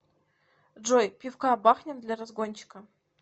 джой пивка бахнем для разгончика